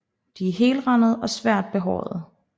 De er helrandede og svagt behårede